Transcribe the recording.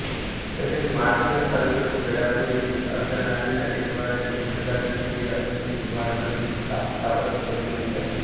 तसेच माळशिरस तालुक्यातील वेळापूर येथे अर्धनारी नटेश्वराचे एकमेवाद्वितीय असे हेमाडपंती स्थापत्यशैली मंदिर आहे